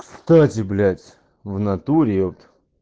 кстати блять в натуре епт